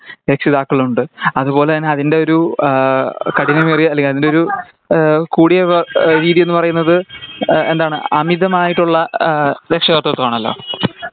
രക്ഷിതാക്കളുണ്ട് അതുപോലെ തന്നെ അതിന്റെ ഒരു ആഹ് കഠിനമേറിയ അല്ലെങ്കി അതിൻ്റെ ഒരു എഹ് കൂടിയ വ രീതി എന്ന പറയണത് എഹ് എന്താണ് അമിതമായിട്ട് ഉള്ള എഹ് ആഹ് രക്ഷാകർത്തിതം ആണല്ലോ